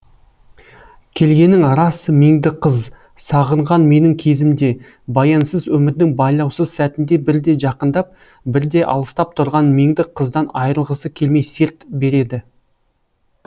келгенің рас меңді қыз сағынған менің кезімде баянсыз өмірдің байлаусыз сәтінде бірде жақындап бірде алыстап тұрған меңді қыздан айрылғысы келмей серт береді